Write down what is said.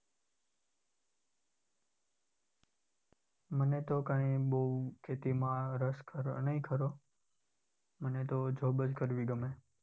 મને તો કઈ બાઉ ખેતીમાં રસ ખરો નહિ ખરો. મને તો job કરવી ગમે.